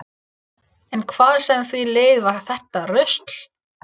En hvað sem því leið var þetta rusl.